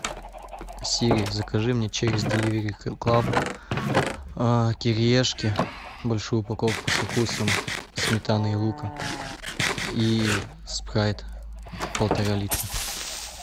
сири закажи мне через деливери клаб кириешки большую упаковку со вкусом сметаны и лука и спрайт полтора литра